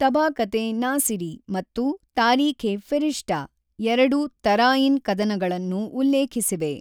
ತಬಾಕತ್-ಇ-ನಾಸಿರಿ ಮತ್ತು ತಾರೀಖ್-ಇ-ಫಿರಿಷ್ಟಾ ಎರಡು ತರಾಯಿನ್ ಕದನಗಳನ್ನು ಉಲ್ಲೇಖಿಸಿವೆ.